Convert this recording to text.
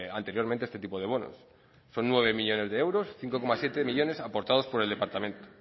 anteriormente este tipo de bonos son nueve millónes de euros cinco coma siete millónes aportados por el departamento